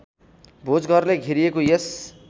भोजघरले घेरिएको यस